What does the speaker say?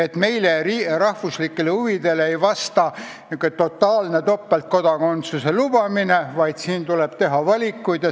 Samas meie rahvuslikele huvidele ei vasta totaalne topeltkodakondsuse lubamine, tuleb teha valikuid.